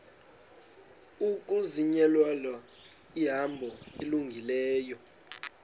ukuzinyulela ihambo elungileyo